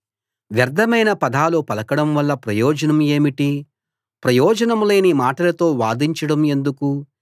వ్యర్థమైన పదాలు పలకడం వల్ల ప్రయోజనం ఏమిటి ప్రయోజనం లేని మాటలతో వాదించడం ఎందుకు